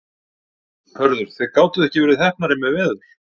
Hörður, þið gátuð ekki verið heppnari með veður?